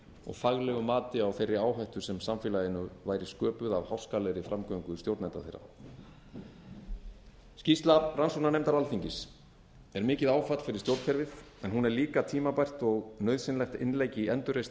og faglegu mati á þeirri áhættu sem samfélaginu væri sköpuð af háskalegri framgöngu stjórnenda þeirra skýrsla rannsóknarnefndar alþingis er mikið áfall fyrir stjórnkerfið en hún er líka tímabært og nauðsynlegt innlegg í endurreisn